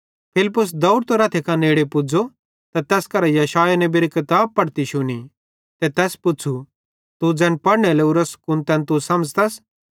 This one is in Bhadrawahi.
फिलिप्पुस देवड़तां रथे कां नेड़े पुज़ो त तैस करां यशायाह नेबेरी किताब पढ़ती शुनी ते तैस पुच़्छ़ू तू ज़ैन पढ़ने लोरोस कुन तैन समझ़तस